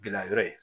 Gilayɔrɔ ye